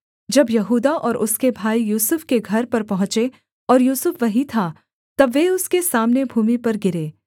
जब यहूदा और उसके भाई यूसुफ के घर पर पहुँचे और यूसुफ वहीं था तब वे उसके सामने भूमि पर गिरे